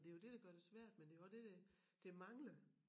Og det jo det der gør det svært men det jo også det der der mangler